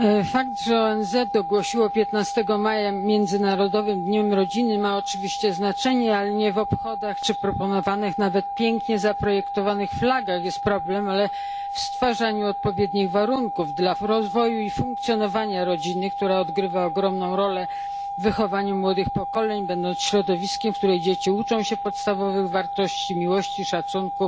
Fakt, że ONZ ogłosiło 15 maja Międzynarodowym Dniem Rodziny, ma oczywiście znaczenie, ale nie w obchodach czy proponowanych nawet pięknie zaprojektowanych flagach jest problem, ale w stwarzaniu odpowiednich warunków dla w rozwoju i funkcjonowania rodziny, która odgrywa ogromną rolę w wychowaniu młodych pokoleń, będąc środowiskiem, w którym dzieci uczą się podstawowych wartości, miłości, szacunku